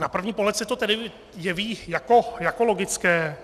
Na první pohled se to tedy jeví jako logické.